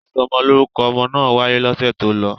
Ìsọmọlórúkọ ọmọ náà wáyé lọ́sẹ̀ tó lọ.